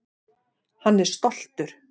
Hann er stoltur.